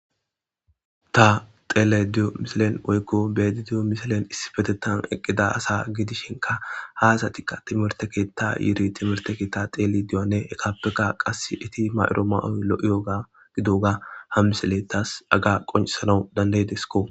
Ta telediyo misilen oykko betidiyo misilen issibetetan eqqida asa gidishinka haasatikka timerteketa yiiri timerte keetta teli diyoanne eqappeka qas iti mayro ma7oy lo7iyoga gidoga ham misile taas aga qoncisanau dandaydesko